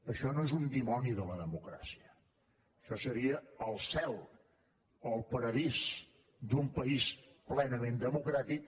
això no és un dimoni de la democràcia això seria el cel o el paradís d’un país plenament democràtic